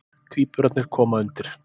Tvíburarnir koma undir.